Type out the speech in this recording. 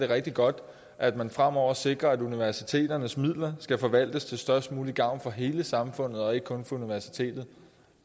rigtig godt at man fremover sikrer at universiteternes midler skal forvaltes til størst mulig gavn for hele samfundet og ikke kun for universiteterne